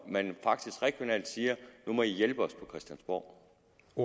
man faktisk regionalt siger nu må i hjælpe os på christiansborg